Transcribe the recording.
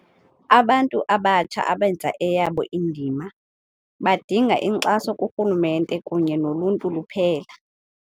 Abantu abatsha abenza eyabo indima, badinga inkxaso kurhulumente kunye noluntu luphela.